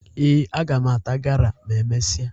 Ee, aga m ata gala ma e mesịa